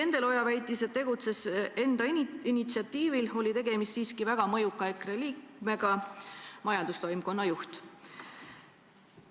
Endel Oja küll väitis, et ta tegutses enda initsiatiivil, aga tegemist oli siiski väga mõjuka EKRE liikmega – majandustoimkonna juhiga.